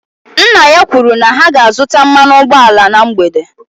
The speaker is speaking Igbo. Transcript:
Nna ya kwuru na ha ga-azụta mmanụ ụgbọala na mgbede